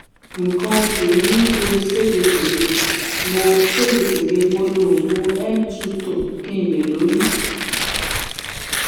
nǹkan oṣù mi ń ṣe ségesège mo ségesège mo lo oògùn m2 tone kí n lè lóyún